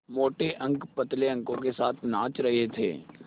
मोटे अंक पतले अंकों के साथ नाच रहे थे